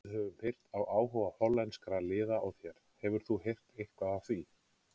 Við höfum heyrt af áhuga hollenskra liða á þér, hefur þú heyrt eitthvað af því?